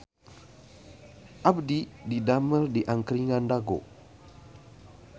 Abdi didamel di Angkringan Dago